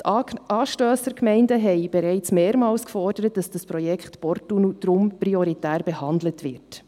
Die anstossenden Gemeinden haben bereits mehrmals gefordert, dass das Projekt Porttunnel deshalb prioritär behandelt wird.